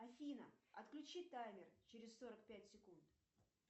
афина отключи таймер через сорок пять секунд